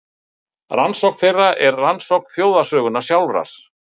Rannsókn þeirra er rannsókn þjóðarsögunnar sjálfrar.